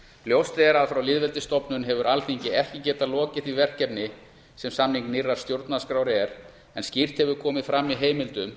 ljóst er að frá lýðveldisstofnun hefur alþingi ekki getað lokið því verkefni sem samning nýrrar stjórnarskrár er en skýrt hefur komið fram í heimildum